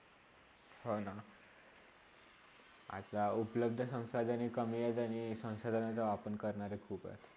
हा ना आता उपलब्ध संसाधने कमी आहेत आणि, संसाधने वापर करणारे खुप आहेत